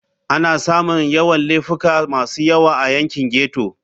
Ana samun Yawan Laifuka masu yawa a yankin ghetto.